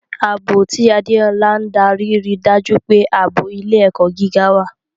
Ààbò, tí Adeola ń darí, rí i dájú pé ààbò ilé-ẹ̀kọ́ gíga wà.